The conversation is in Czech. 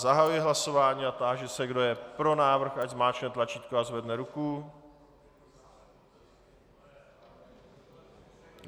Zahajuji hlasování a táži se, kdo je pro návrh, ať zmáčkne tlačítko a zvedne ruku?